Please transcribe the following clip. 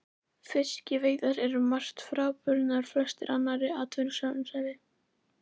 Fiskveiðar eru um margt frábrugðnar flestri annarri atvinnustarfsemi.